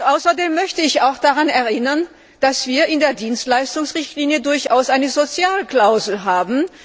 Außerdem möchte ich daran erinnern, dass wir in der Dienstleistungsrichtlinie durchaus eine Sozialklausel haben.